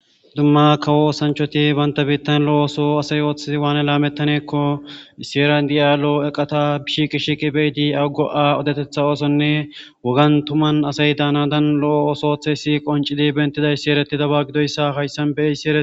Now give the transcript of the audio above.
dumma kawo osanchoti banta birittan lo7o oso asay ooththizi waane laamettaneekko iseran di7aalo eqata bishqishiqi beyidi aggo7a odetetha oosonne wagan tuman asay daana dan lo7o ooso oththeysi qoncidi bentidaysi ereti daba gidoyssa hayssan beysi e